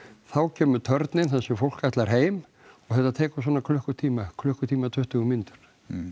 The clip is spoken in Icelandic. þá kemur þar sem fólk ætlar heim og það tekur svona klukkutíma klukkutíma tuttugu mínútur